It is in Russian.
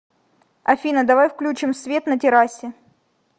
афина давай включим свет на террасе